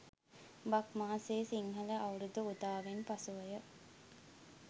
බක් මාසයේ සිංහල අවුරුදු උදාවෙන් පසුවය.